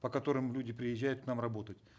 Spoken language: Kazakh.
по которым люди приезжают к нам работать